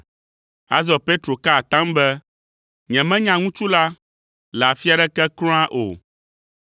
Azɔ Petro ka atam be, “Nyemenya ŋutsu la le afi aɖeke kura o!”